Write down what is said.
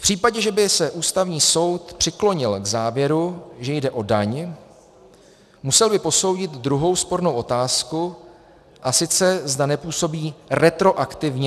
V případě, že by se Ústavní soud přiklonil k závěru, že jde o daň, musel by posoudit druhou spornou otázku, a sice, zda nepůsobí retroaktivně.